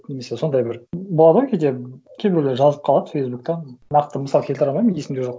немесе сондай бір болады ғой кейде кейбіреулер жазып қалады фейсбукта нақты мысал келтіре алмаймын есімде жоқ